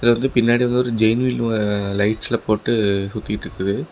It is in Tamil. இது வந்து பின்னாடி வந்து ஒரு ஜெய்ண்ட் வீல் அ லைட்ஸ் ல போட்டு சுத்திட்ருக்குது.